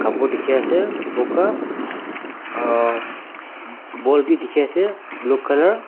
kor tiki ase boka ah bol bi tiki ase blue colour .